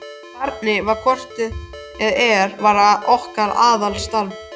Barnið var hvort eð er að verða okkar aðalstarf.